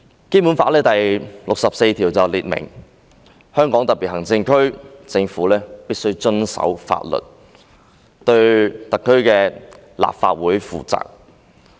《基本法》第六十四條訂明，香港特別行政區政府必須遵守法律，對香港特別行政區立法會負責。